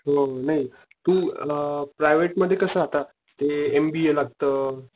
हो नाही तू अला, प्रायव्हेट मध्ये कस आता ते एम बी ए लागत.